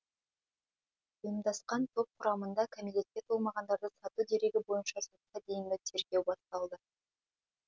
ұйымдасқан топ құрамында кәмелетке толмағандарды сату дерегі бойынша сотқа дейінгі тергеу басталды